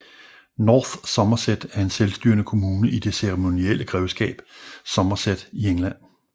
North Somerset er en selvstyrende kommune i det ceremonielle grevskab Somerset i England